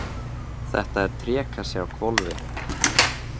Þetta er trékassi á hvolfi.